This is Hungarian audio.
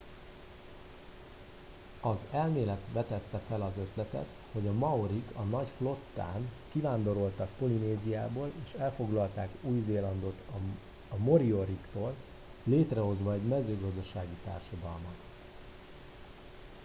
az elmélet vetette fel az ötletet hogy a maorik a nagy flottán kivándoroltak polinéziából és elfoglalták új zélandot a morioriktól létrehozva egy mezőgazdasági társadalmat